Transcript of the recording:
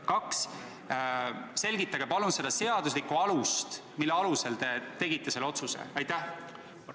Palun selgitage seda seaduslikku alust, mille põhjal te selle otsuse tegite!